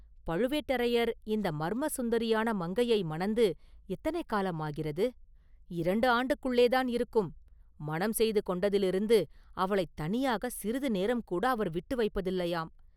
பழுவேட்டரையர் இந்த மர்ம சுந்தரியான மங்கையை மணந்து எத்தனை காலம் ஆகிறது?” “இரண்டு ஆண்டுக்குள்ளேதான் இருக்கும்; மணம் செய்து கொண்டதிலிருந்து அவளைத் தனியாக சிறிது நேரம் கூட அவர் விட்டு வைப்பதில்லையாம்!